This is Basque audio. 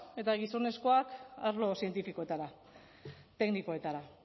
eta gizonezkoak arlo zientifikoetara teknikoetara